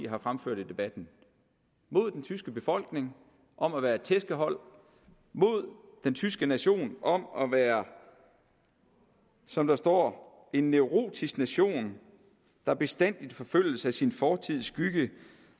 har fremført i debatten mod den tyske befolkning om at være et tæskehold mod den tyske nation om at være som der står en neurotisk nation der bestandigt forfølges af sin fortids skygge